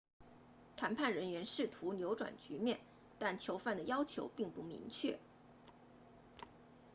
谈判人员试图扭转局面但囚犯的要求并不明确